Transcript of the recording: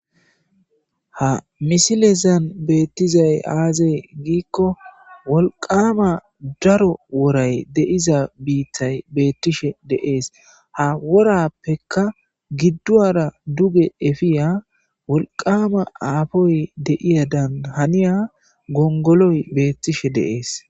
Ha misilezan beettizay aaze giikko wolqama daaro woray deiza biittay beettishe de7es ha worappeka gidduwara duge epiya wolqama aafoy deiyadan haniya gongoloy beettishe de7es.